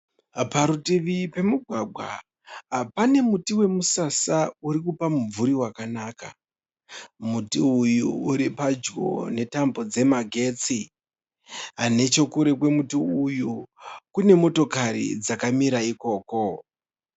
Parutivi pemugwagwa pane muti wemusasa uri kupa mumvuri wakanaka, muti uyu uri padyo netambo dzemagetsi, nechekure kwemuti uyu kune motokari dzakamira ikoko.